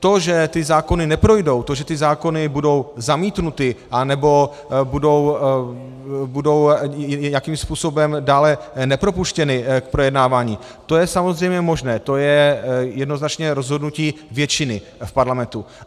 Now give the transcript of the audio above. To, že ty zákony neprojdou, to, že ty zákony budou zamítnuty, anebo budou nějakým způsobem dále nepropuštěny k projednávání, to je samozřejmě možné, to je jednoznačné rozhodnutí většiny v parlamentu.